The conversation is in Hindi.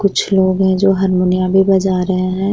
कुछ लोग हैं जो हरमुनिया भी बजा रहें हैं।